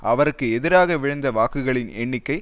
அவருக்கு எதிராக விழுந்த வாக்குகளின் எண்ணிக்கை